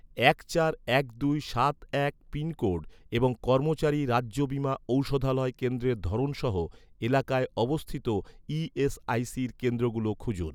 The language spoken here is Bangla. এক চার এক দুই সাত এক পিনকোড এবং কর্মচারী রাজ্য বীমা ঔষধালয় কেন্দ্রের ধরন সহ, এলাকায় অবস্থিত ই.এস.আই.সির কেন্দ্রগুলো খুঁজুন